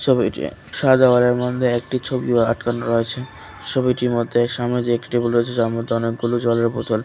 ছবিতে সাদা ঘরের মধ্যে একটি ছবিও আটকানো আছে সবিটির মধ্যে সামনে যে একটি টেবিল রয়েছে যার মধ্যে অনেকগুলো জলের বোতল।